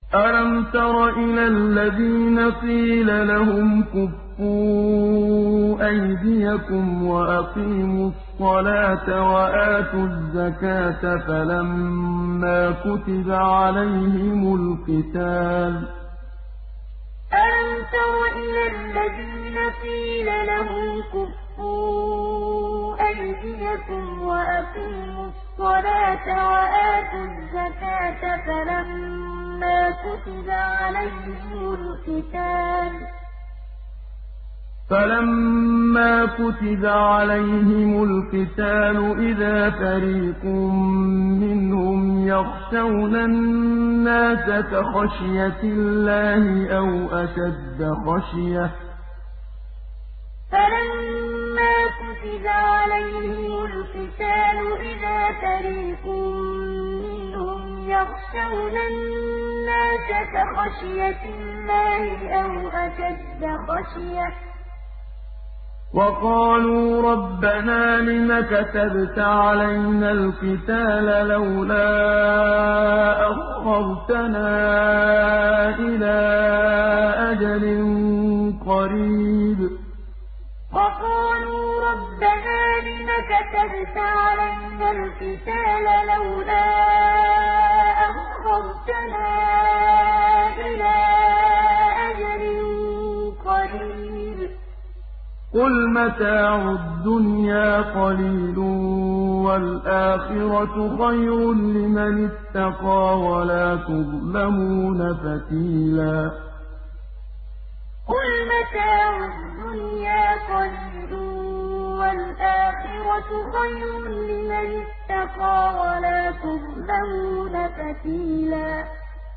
أَلَمْ تَرَ إِلَى الَّذِينَ قِيلَ لَهُمْ كُفُّوا أَيْدِيَكُمْ وَأَقِيمُوا الصَّلَاةَ وَآتُوا الزَّكَاةَ فَلَمَّا كُتِبَ عَلَيْهِمُ الْقِتَالُ إِذَا فَرِيقٌ مِّنْهُمْ يَخْشَوْنَ النَّاسَ كَخَشْيَةِ اللَّهِ أَوْ أَشَدَّ خَشْيَةً ۚ وَقَالُوا رَبَّنَا لِمَ كَتَبْتَ عَلَيْنَا الْقِتَالَ لَوْلَا أَخَّرْتَنَا إِلَىٰ أَجَلٍ قَرِيبٍ ۗ قُلْ مَتَاعُ الدُّنْيَا قَلِيلٌ وَالْآخِرَةُ خَيْرٌ لِّمَنِ اتَّقَىٰ وَلَا تُظْلَمُونَ فَتِيلًا أَلَمْ تَرَ إِلَى الَّذِينَ قِيلَ لَهُمْ كُفُّوا أَيْدِيَكُمْ وَأَقِيمُوا الصَّلَاةَ وَآتُوا الزَّكَاةَ فَلَمَّا كُتِبَ عَلَيْهِمُ الْقِتَالُ إِذَا فَرِيقٌ مِّنْهُمْ يَخْشَوْنَ النَّاسَ كَخَشْيَةِ اللَّهِ أَوْ أَشَدَّ خَشْيَةً ۚ وَقَالُوا رَبَّنَا لِمَ كَتَبْتَ عَلَيْنَا الْقِتَالَ لَوْلَا أَخَّرْتَنَا إِلَىٰ أَجَلٍ قَرِيبٍ ۗ قُلْ مَتَاعُ الدُّنْيَا قَلِيلٌ وَالْآخِرَةُ خَيْرٌ لِّمَنِ اتَّقَىٰ وَلَا تُظْلَمُونَ فَتِيلًا